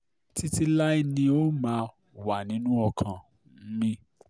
títí láé ni ó um máa wà nínú ọkàn um mi